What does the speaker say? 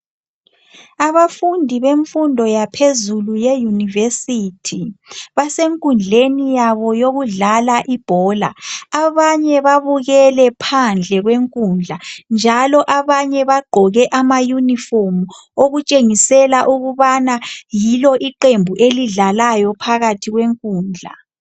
Abafundi bemfundo yaphezulu ye yunivesithi basenkundleni yabo yokudlala ibhola .Abanye babukele phandle kwenkundla njalo abanye bagqoke ama uniform okutshengisela ukubana yilo iqembu elidlalayo phakathi kwenkundla